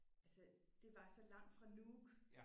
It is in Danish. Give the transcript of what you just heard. Altså det var så langt fra Nuuk